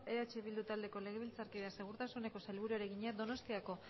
eh bildu taldeko legebiltzarkideak segurtasuneko sailburuari egina donostiako